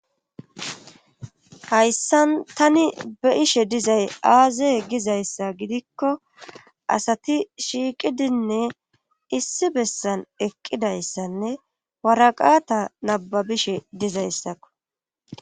hayssan tani be7ishe dizay aazey gizayssa gidikko asati shiiqidinne issi bessan eqqidayssanne waraqata nababishe dizayssakko